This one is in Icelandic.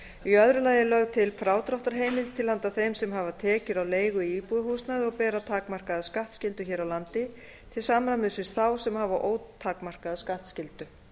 í öðru lagi er lögð til frádráttarheimild til handa þeim sem hafa tekjur af leigu í íbúðarhúsnæði og bera takmarkaða skattskyldu hér á landi til samræmis við þá sem hafa ótakmarkaða skattskyldu